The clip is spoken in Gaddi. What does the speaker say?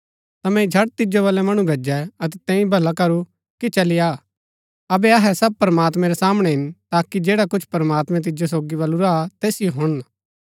ता मैंई झट तिजो बलै मणु भैजै अतै तैंई भला करू कि चली आ अबै अहै सब प्रमात्मैं रै सामणै हिन ताकि जैडा कुछ प्रमात्मैं तिजो सोगी बलुरा तैसिओ हुणन